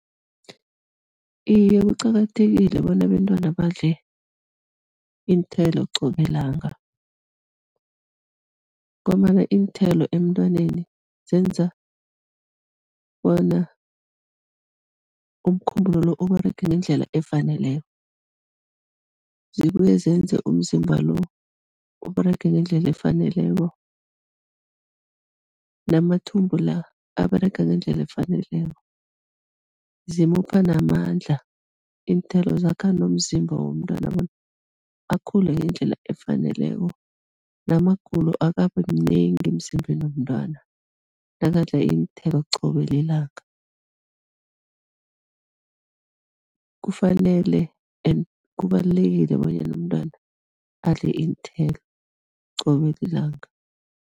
Iye, kuqakathekile bona abentwana badle iinthelo qobe langa ngombana iinthelo emntwaneni zenza bona umkhumbulo lo Uberege ngendlela efaneleko, zibuye zenze umzimba lo Uberege ngendlela efaneleko namathumbu la aberega ngendlela efaneleko, zimupha namandla iinthelo, zakha nomzimba womntwana bona akhule ngendlela efaneleko namagulo akabi mnengi emzimbeni womntwana nakadla iinthelo qobe lilanga. Kufanele and kubalulekile bonyana umntwana adle iinthelo qobe lilanga.